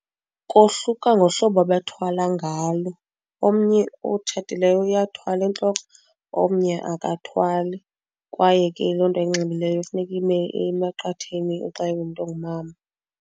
Kohluka ngohlobo abathwala ngalo, omnye otshatileyo uyathwala entloko omnye akathwali. Kwaye ke loo nto ayinxibileyo funeka ime emaqatheni xa ingumntu ongumama.